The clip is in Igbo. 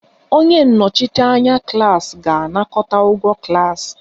Onye nnọchiteanya klas ga-anakọta ụgwọ klas